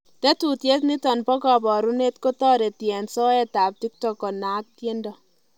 Tetuiet niton bo kabarunet kotoreti en soet ab tiktok konaak tiendo?